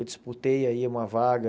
Eu disputei aí uma vaga,